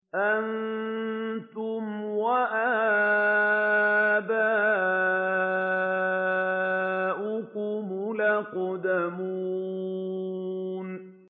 أَنتُمْ وَآبَاؤُكُمُ الْأَقْدَمُونَ